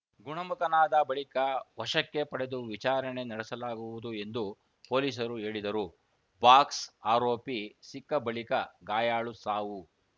ಗುಣಮುಖನಾದ ಬಳಿಕ ವಶಕ್ಕೆ ಪಡೆದು ವಿಚಾರಣೆ ನಡೆಸಲಾಗುವುದು ಎಂದು ಪೊಲೀಸರು ಹೇಳಿದರು ಬಾಕ್ಸ್‌ಆರೋಪಿ ಸಿಕ್ಕ ಬಳಿಕ ಗಾಯಾಳು ಸಾವು